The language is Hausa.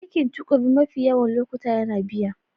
Aikin tukuru mafi yawan lokuta yana biya.